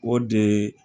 O de